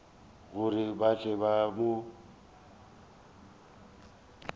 gore ba tle ba mo